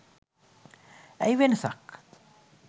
ඇයි වෙනසක්?